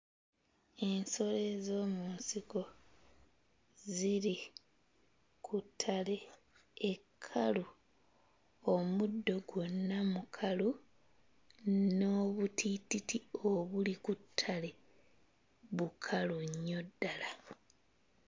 Ensolo ez'omu nsiko ziri ku ttale ekkalu. Omuddo gwonna mukalu n'obutiititi obuli ku ttale bukalu nnyo ddala.